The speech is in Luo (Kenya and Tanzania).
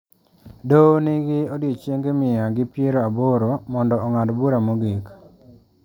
Doho nigi odiechienge mia gi piero aboro mondo ong'ad bura mogik.